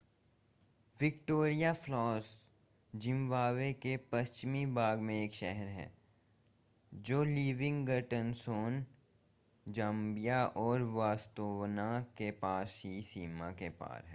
Victoria Falls Zimbabwe के पश्चिमी भाग में एक शहर है जो लिविंगस्टोन ज़ाम्बिया और बोत्सवाना के पास की सीमा के पार है